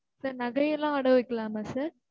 sir நகையெல்லாம் அடகு வைக்கலாமா sir?